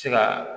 Se ka